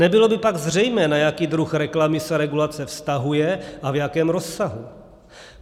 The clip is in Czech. Nebylo by pak zřejmé, na jaký druh reklamy se regulace vztahuje a v jakém rozsahu.